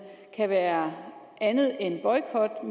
kan være andet end boykot og